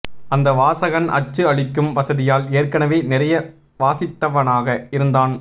அந்த வாசகன் அச்சு அளிக்கும் வசதியால் ஏற்கனவே நிறைய வாசித்தவனாக இருந்தான்